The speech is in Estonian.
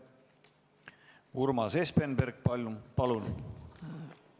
Urmas Espenberg, palun!